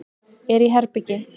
Er í herbergi.